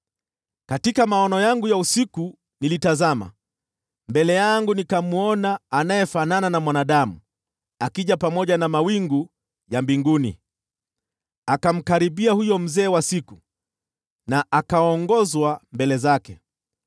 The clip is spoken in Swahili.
“Katika maono yangu ya usiku nilitazama, na mbele yangu nikamwona anayefanana na mwanadamu, akija pamoja na mawingu ya mbinguni. Akamkaribia huyo Mzee wa Siku, na akaongozwa mbele zake.